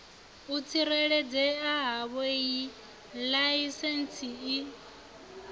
u tsireledzea havhoiyi laisentsi i